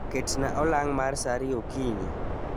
Ketnaa olang' mar saa ariyo okinyi